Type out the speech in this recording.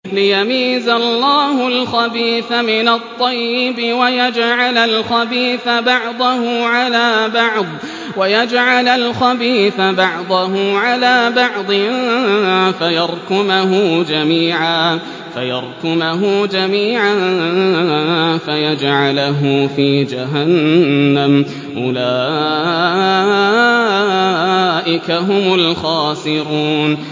لِيَمِيزَ اللَّهُ الْخَبِيثَ مِنَ الطَّيِّبِ وَيَجْعَلَ الْخَبِيثَ بَعْضَهُ عَلَىٰ بَعْضٍ فَيَرْكُمَهُ جَمِيعًا فَيَجْعَلَهُ فِي جَهَنَّمَ ۚ أُولَٰئِكَ هُمُ الْخَاسِرُونَ